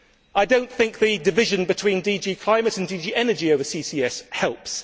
I do not think the division between DG Climate and DG Energy over CCS helps.